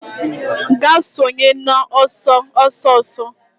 Gaa sonye n'ọsọ ọsọ ọsọ